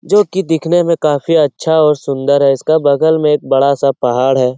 जो कि दिखने में काफी अच्छा और सुन्दर है इसके बगल में एक बड़ा सा पहाड़ है|